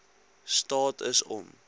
staat is om